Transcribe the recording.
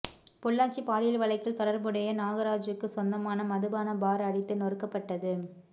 பொள்ளாச்சி பாலியல் வழக்கில் தொடர்புடைய நாகராஜுக்கு சொந்தமான மதுபான பார் அடித்து நொறுக்கப்பட்டது